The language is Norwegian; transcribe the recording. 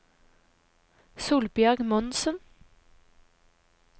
Solbjørg Monsen